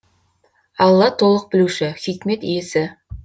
алла толық білуші хикмет иесі